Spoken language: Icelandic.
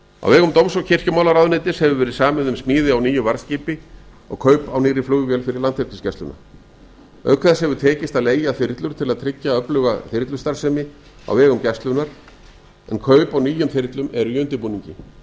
á vegum dóms og kirkjumálaráðuneytis hefur verið samið um smíði á nýju varð skipi og kaup á nýrri flugvél fyrir landhelgisgæsluna auk þess hefur tekist að leigja þyrlur til að tryggja öfluga þyrlustarfsemi vegum gæslunnar en kaup á nýjum þyrlum eru í undirbúningi